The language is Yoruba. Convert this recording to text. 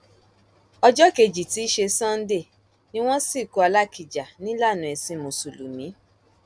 ọjọ kejì tí í ṣe sánńdẹ ni wọn sìnkú alákíjà nílànà ẹsìn mùsùlùmí